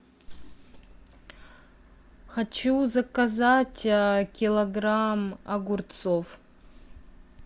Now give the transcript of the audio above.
хочу заказать килограмм огурцов